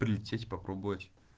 прилететь попробовать